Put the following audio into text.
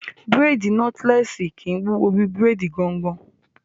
Bírèèdì nọ́tílẹ́ẹ̀sì kìí wúwo bí bírèèdì gangan